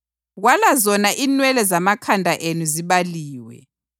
Kwala zona inwele zamakhanda enu zibaliwe.